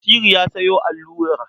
Basiru ya sayo allura.